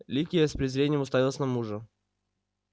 ликия с презрением уставилась на мужа